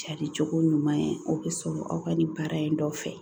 Cari cogo ɲuman ye o bɛ sɔrɔ aw ka nin baara in dɔ fɛ